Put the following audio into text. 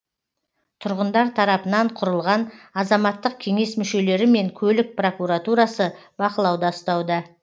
тұрғындар тарапынан құрылған азаматтық кеңес мүшелері мен көлік прокуратурасы бақылауда ұстауда